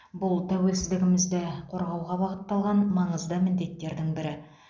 бұл тәуелсіздігімізді қорғауға бағытталған маңызды міндеттердің бірі